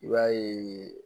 I b'a ye